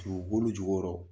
Dugukolo jukɔrɔ.